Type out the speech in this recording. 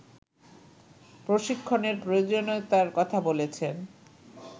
প্রশিক্ষণের প্রয়োজনীয়তার কথা বলছেন